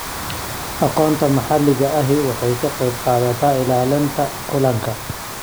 Aqoonta maxalliga ahi waxay ka qaybqaadataa ilaalinta kalluunka.